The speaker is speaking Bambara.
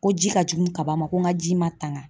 Ko ji ka jugu kaba ma ko n ka ji ma tanga.